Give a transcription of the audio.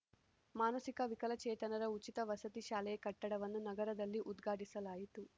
ಮಾನಸಿಕ ವಿಕಲಚೇತನರ ಉಚಿತ ವಸತಿ ಶಾಲೆಯ ಕಟ್ಟಡವನ್ನು ನಗರದಲ್ಲಿ ಉದ್ಘಾಟಿಸಲಾಯಿತು